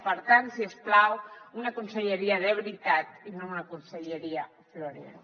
per tant si us plau una conselleria de veritat i no una conselleria florero